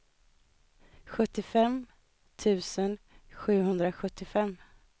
sjuttiofem tusen sjuhundrasjuttiofem